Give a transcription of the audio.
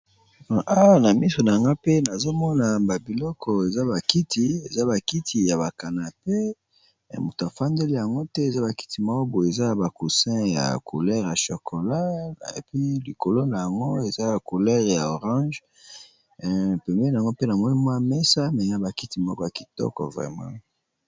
Awa na miso nangai pe nazomona eza ba kiti ba canapé mutu afandeli yango te eza pe na ba causin ya couleur ya chocolat puis likolo nayango eza na ba couleur ya ba orange pembeni pe mesa eza ba kiti ya kitoko penza.